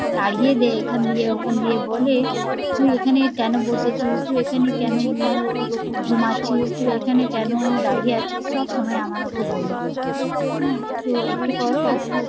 তাড়িয়ে দে এখানে দে ওখানে দিয়ে বলে তুই এখানে কেন বসেছিস, তুই এখানে কেন ঘুমাচ্ছিস, তুই এখানে কোনো দাঁড়িয়ে আছিস, সব সময় আমাদের কে বলে হম তো একটু পর ও